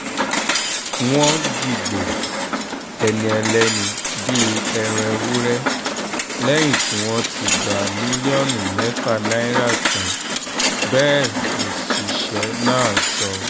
wọ́n dìgbò ẹni ẹlẹ́ni bíi ẹran ewúrẹ́ lẹ́yìn tí wọ́n ti gba mílíọ̀nù mẹ́fà náírà tán bẹ́ẹ̀ lọ́ṣiṣẹ́ náà sọ